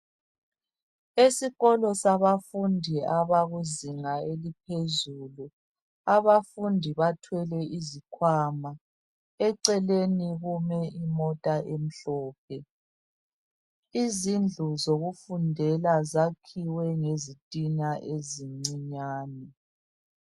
esikolo sabafundi abakuzinga eliphezulu abafundi bathwele izikhwama eceleni kume imota emhlophe izindlu zokufundela zakhiwe ngezitina ezincinyane